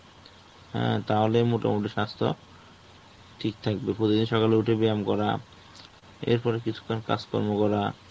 হ্যাঁ তাহলে মোটামুটি স্বাস্থ্য ঠিক থাকবে. প্রতিদিন সকালে উঠে ব্যায়াম করা, এরপরে কিছুক্ষণ কাজকর্ম করা.